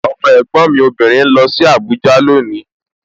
Ọmọ ẹ̀gbọ́n mi obìnrin ń lọ sí Abuja loni